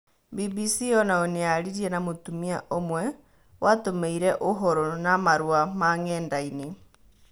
Mbimbisi onayo nĩyaririe na mũtumia ũmwe watũmĩire ũhoro na marũa ma-ng'endainĩ.